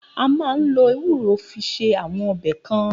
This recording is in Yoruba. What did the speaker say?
A maá n lo ewúro fi se awọn ọbẹ kan.